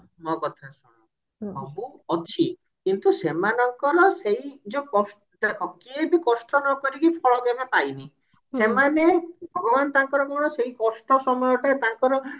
ମୋ କଥା ଶୁଣ ସବୁ ଅଛି କିନ୍ତୁ ସେମାନଙ୍କର ସେଇ ଯଉ କଷ୍ଟ କେହି ବି କଷ୍ଟ ନକରିକି ଫଳ କେବେ ପାଇନି ସେମାନେ ଭଗବାନ ତାଙ୍କର କଣ ସେଇ କଷ୍ଟ ସମୟଟା ତାଙ୍କର